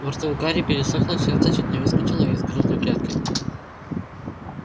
во рту у гарри пересохло сердце чуть не выскочило из грудной клетки